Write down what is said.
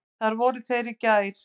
Þar voru þeir í gær.